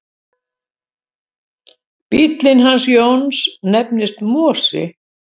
Bíllinn hans Jóns nefnist Mosi.